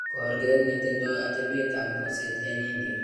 korket netindoo atebeet ab moseet en India